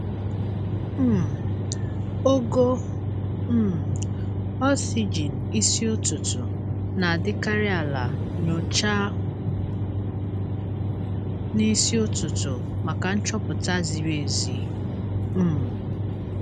um Ogo um oxygen isi ụtụtụ na-adịkarị ala- nyochaa n'isi ụtụtụ maka nchọpụta ziri ezi. um